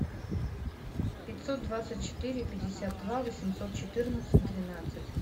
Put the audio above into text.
пятьсот двадцать четыре пятьдесят два восемьсот четырнадцать двенадцать